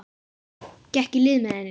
Gekk í lið með henni.